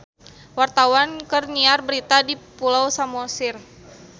Wartawan keur nyiar berita di Pulau Samosir